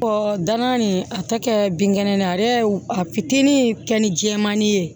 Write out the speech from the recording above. danna nin a tɛ kɛ binkɛnɛ ye ale a fitinin kɛ ni jɛmani ye